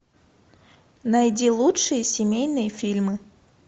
найди лучшие семейные фильмы